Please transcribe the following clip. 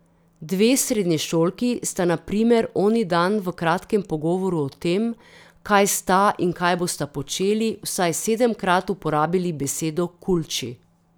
Dve srednješolki sta na primer oni dan v kratkem pogovoru o tem, kaj sta in kaj bosta počeli, vsaj sedemkrat uporabili besedo kulči.